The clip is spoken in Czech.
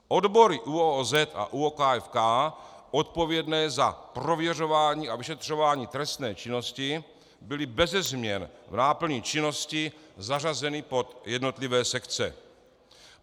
Odbory ÚOOZ a ÚOKFK odpovědné za prověřování a vyšetřování trestné činnosti byly beze změn v náplni činnosti zařazeny pod jednotlivé sekce.